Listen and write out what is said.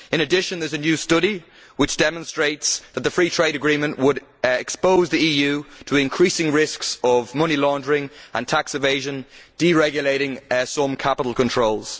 In addition, there is a new study which demonstrates that the Free Trade Agreement would expose the EU to increasing risks of money laundering and tax evasion, deregulating some capital controls.